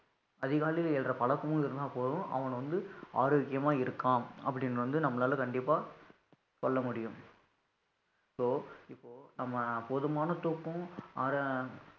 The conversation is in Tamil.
அதிகாலையில எழுற பழக்கமும் இருந்தா போதும் அவன் வந்து ஆரோக்கியமா இருக்கான் அப்படின்னு வந்து நம்மளால கண்டிப்பா சொல்ல முடியும், இப்போ இப்போ நம்ம போதுமான தூக்கம்